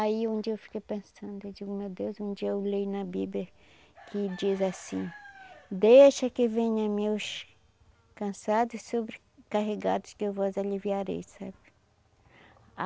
Aí um dia eu fiquei pensando, eu digo, meu Deus, um dia eu leio na Bíblia que diz assim, deixa que venha meus cansado e sobrecarregados que eu vos aliviarei, sabe?